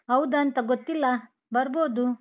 ಹೌದಂತಾ ಗೊತ್ತಿಲ್ಲ, ಬರ್ಬೋದು.